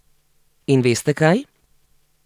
In veste kaj?